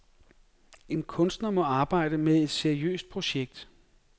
En kunstner må arbejde med et seriøst projekt.